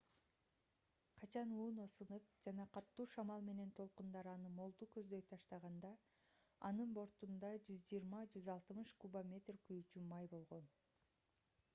качан луно сынып жана катуу шамал менен толкундар аны молду көздөй таштаганда анын бортунда 120-160 кубометр күйүүчү май болгон